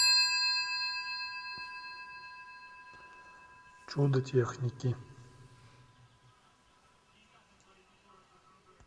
чудо техники